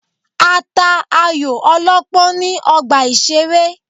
A ta ayò ọlọ́pọ́n ní ọgbà ìṣeré.